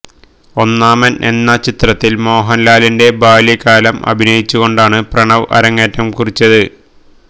ഒന്നാമന് എന്ന ചിത്രത്തില് മോഹന്ലാലിന്റെ ബാല്യകാലം അഭിനയിച്ചുകൊണ്ടാണ് പ്രണവ് അരങ്ങേറ്റം കുറിച്ചത്